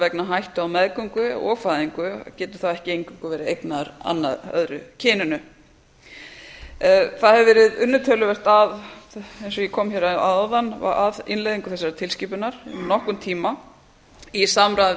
vegna hættu á meðgöngu og fæðingu geti þá ekki eingöngu verið eignaður öðru kyninu það hefur verið unnið töluvert að eins og ég kom hér að áðan að innleiðingu þessarar tilskipunar um nokkurn tíma í samráði